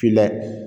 Finna